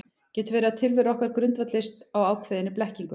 Getur verið að tilvera okkar grundvallist á ákveðinni blekkingu?